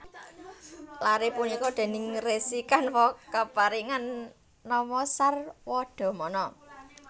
Lare punika déning Resi Kanwa kaparingan nama Sarwadamana